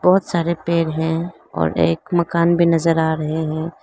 बहोत सारे पेड़ हैं और एक मकान भी नजर आ रहे हैं।